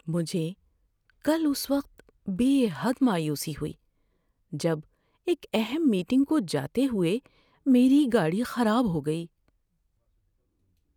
مجھے کل اس وقت بے حد مایوسی ہوئی جب ایک اہم میٹنگ کو جاتے ہوئے میری گاڑی خراب ہو گئی۔